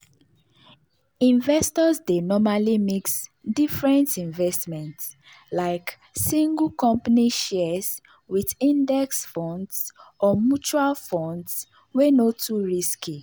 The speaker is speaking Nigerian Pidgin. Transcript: investors dey normally mix different investments like single company shares with index funds or mutual funds wey no too risky.